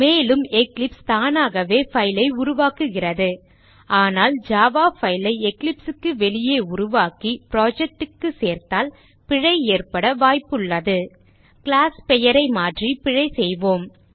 மேலும் எக்லிப்ஸ் தானாகவே file ஐ உருவாக்குகிறது ஆனால் ஜாவா file ஐ Eclipse க்கு வெளியே உருவாக்கி project க்கு சேர்த்தால் பிழை ஏற்பட வாய்ப்புள்ளது கிளாஸ் பெயரை மாற்றி பிழை செய்வோம்